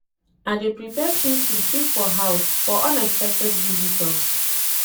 I dey prepare chin-chin keep for house for unexpected visitors.